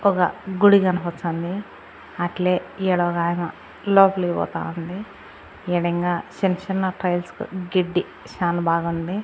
ఒక గుడి కనపచ్చంది అట్లే ఈడ ఒకాయమ్మ లోపలకి పోతా ఉంది. ఈడ ఇంకా చిన్న-చిన్న టైల్స్ గెడ్డి చానా బాగుంది.